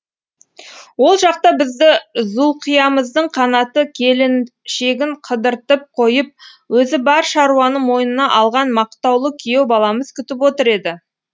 ол жақта бізді зұлқиямыздың қанаты келіншегін қыдыртып қойып өзі бар шаруаны мойнына алған мақтаулы күйеу баламыз күтіп отыр еді